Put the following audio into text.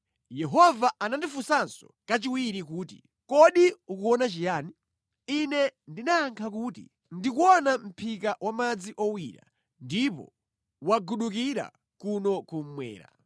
Yehova anandifunsanso kachiwiri kuti, “Kodi ukuona chiyani?” Ine ndinayankha kuti, “Ndikuona mʼphika wa madzi owira, ndipo wagudukira kuno kummwera.”